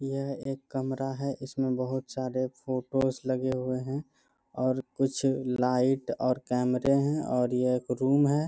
यह एक कमरा है इसमें बहुत सारे फोटोज लगे हुए है और कुछ लाइट और कैमरे है और यह एक रूम है।